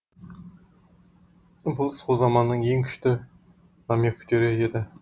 бұл сол заманның ең күшті намектері еді